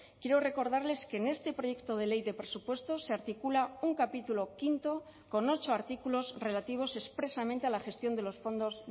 quiero recordarles que en este proyecto de ley de presupuestos se articula un capítulo quinto con ocho artículos relativos expresamente a la gestión de los fondos